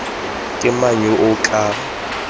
ke mang yo o ka